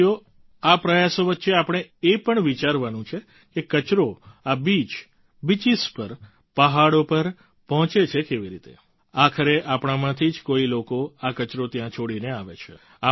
સાથીઓ આ પ્રયાસો વચ્ચે આપણે એ પણ વિચારવાનું છે કે કચરો આ બીચ બીચીસ પર પહાડો પર પહોંચે છે કેવી રીતે આખરે આપણાંમાંથી જ કોઈ લોકો આ કચરો ત્યાં છોડીને આવે છે